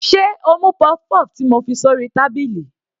Sé o mú puff-puff ti mo fi sórí tábìlì.